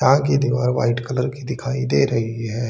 यहां की दीवार वाइट कलर की दिखाई दे रही है।